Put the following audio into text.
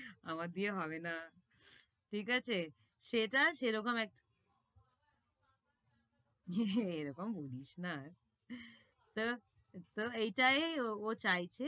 আমার দিয়ে হবে না, ঠিক আছে? সেটা সে রকম একটা। এ রকম বলিস না। তো তো এটাই ও চাইছে।